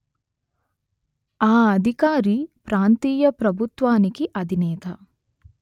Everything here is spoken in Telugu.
ఆ అధికారి ప్రాంతీయ ప్రభుత్వానికి అధినేత